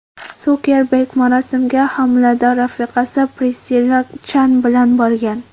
Sukerberg marosimga homilador rafiqasi Prissilla Chan bilan borgan.